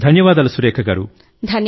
ధన్యవాదాలు సురేఖ గారూ